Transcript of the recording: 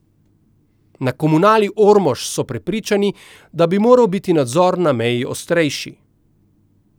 Na Komunali Ormož so prepričani, da bi moral biti nadzor na meji ostrejši.